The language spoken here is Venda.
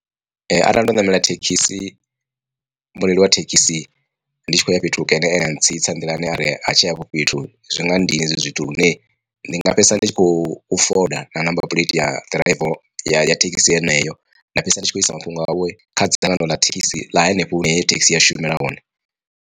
Ee arali ndo ṋamela thekhisi, mureili wa thekhisi ndi tshi khou ya fhethu hukene ene a ntsitsa nḓilani ari ha tsha ya hafho fhethu zwi nga nndina hezwo zwithu lune ndi nga fhedzisela nditshi kho foda na number phuleithi ya driver ya thekhisi yeneyo nda fhedzisela nditshi kho isa mafhungo awe kha dzangano ḽa thekhisi ḽa hanefho hune heyo thekhisi ya shumela hone.